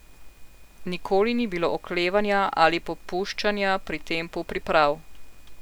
Nikoli ni bilo oklevanja ali popuščanja pri tempu priprav.